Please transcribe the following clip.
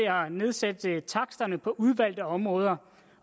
nedsætte taksterne på udvalgte områder